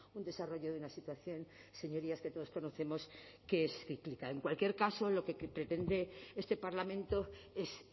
un desarrollo de una situación señorías que todos conocemos que es cíclica en cualquier caso lo que pretende este parlamento es